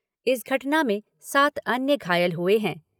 इस घटना में सात अन्य घायल हुए हैं।